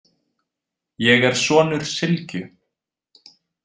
Ég er sonur Sylgju,